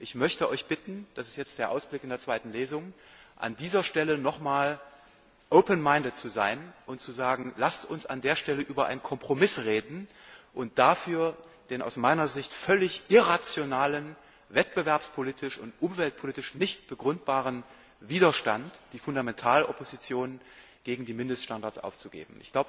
Ich möchte Euch bitten das ist jetzt der Ausblick auf die zweite Lesung an dieser Stelle noch einmal open minded zu sein und zu sagen Lasst uns an dieser Stelle über einen Kompromiss reden und dafür den aus meiner Sicht völlig irrationalen, wettbewerbspolitisch und umweltpolitisch nicht begründbaren Widerstand, die Fundamentalopposition gegen die Mindeststandards aufzugeben.